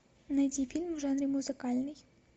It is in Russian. найди фильм в жанре музыкальный